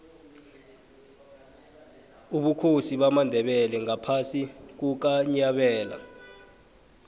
ubukhosi bamandebele ngaphasi kukanyabela